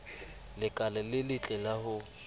lekala le letle la ho